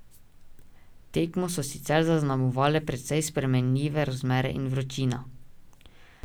Tekmo so sicer zaznamovale precej spremenljive razmere in vročina.